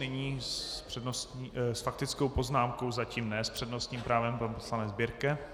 Nyní s faktickou poznámkou, zatím ne s přednostním právem, pan poslanec Birke.